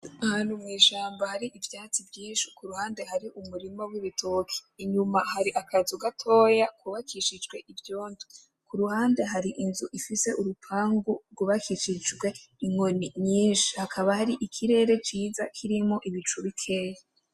Ahantu hari ivyatsi vyinshi kuruhande hari umurima wibitoki inyuma hari akazi gatoya kubakishijwe ivyondo kuruhande hari inzu ifise urupangu rwubakishijwe inkoni nyinshi hakaba hari ikirere ciza kirimo ibicu bikeya.